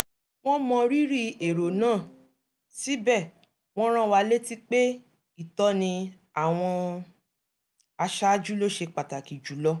wọ́n mọ rírì èrò náà síbẹ̀ wọ́n rán wa létí pé ìtọ́ni àwọn aṣáájú ló ṣe pàtàkì jùlọ